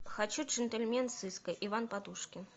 хочу джентльмен сыска иван подушкин